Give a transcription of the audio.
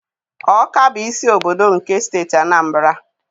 Ọka bụ isi obodo nke Steeti Anambra.